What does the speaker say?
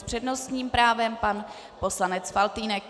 S přednostním právem pan poslanec Faltýnek.